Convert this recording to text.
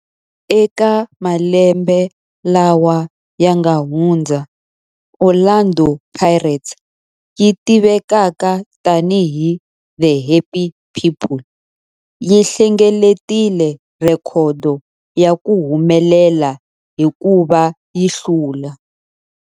Eka malembe lawa yanga hundza, Orlando Pirates, leyi tivekaka tani hi 'The Happy People', yi hlengeletile rhekhodo ya ku humelela hikuva yi hlule